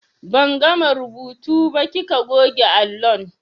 Ban gama rubutu ba kika goge allon.